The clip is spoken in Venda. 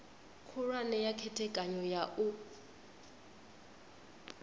khulwane ya khethekanyo ya u